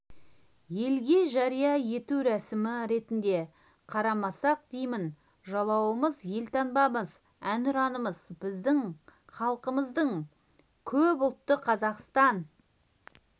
елге жария ету рәсімі ретінде қарамасақ деймін жалауымыз елтаңбамыз әнұранымыз біздің халқымызды көп ұлтты қазақстан